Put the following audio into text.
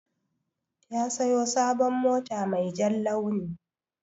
Ya siyo sabon mota mai jan launi.